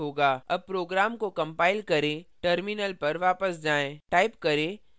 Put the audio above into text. अब program को compile करें terminal पर वापस जाएँ